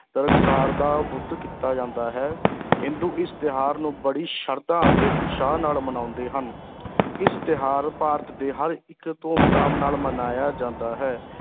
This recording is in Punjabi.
ਨਰਕਾਸੁਰ ਦਾ ਵੱਧ ਕੀਤਾ ਜਾਂਦਾ ਹੈ ਹਿੰਦੂ ਇਸ ਤਿਉਹਾਰ ਨੂੰ ਬੜੀ ਸ਼ਰਧਾ ਅਤੇ ਉਤਸ਼ਾਹ ਨਾਲ ਮਨਾਉਂਦੇ ਹਨ ਇਸ ਤਿਉਹਾਰ ਭਾਰਤ ਦੇ ਹਰ ਇੱਕ ਧੂਮ ਧਾਮ ਨਾਲ ਮਨਾਇਆ ਜਾਂਦਾ ਹੈ,